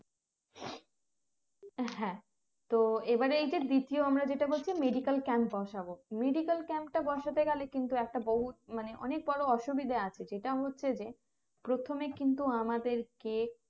হ্যাঁ তো এবারে এইটা দ্বিতীয় আমরা যেটা বলছি medical camp বসাবো medical camp টা বসাতে গেলে কিন্তু একটা বহুৎ মানে অনেক বড়ো অসুবিধা আছে যেটা হচ্ছে যে প্রথমে কিন্তু আমাদেরকে